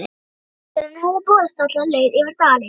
Hvellurinn hefði borist alla leið yfir dalinn.